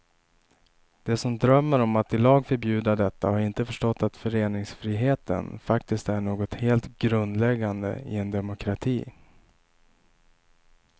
De som drömmer om att i lag förbjuda detta har inte förstått att föreningsfriheten faktiskt är något helt grundläggande i en demokrati.